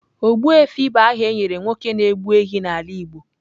Ogbuefi bụ aha e nyere nwoke na-egbu ehi n’ala igbo.